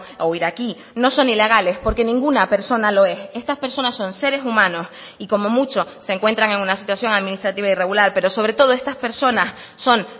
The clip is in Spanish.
o iraquí no son ilegales porque ninguna persona lo es estas personas son seres humanos y como mucho se encuentran en una situación administrativa irregular pero sobre todo estas personas son